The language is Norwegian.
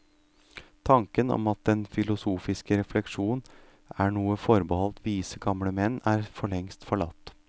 Tanken om at den filosofiske refleksjon er noe forbeholdt vise gamle menn er forlengst forlatt.